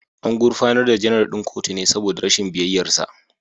An gurfanar da Janar ɗin kotu ne saboda rashin biyayyarsa